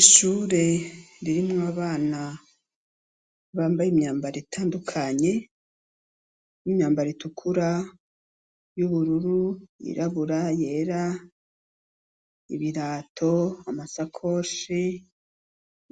Ishure ririmwo abana bambaye imyambaro itandukanye imyambaro utukura, yirabura ,yera ,ibirato, udusakoshi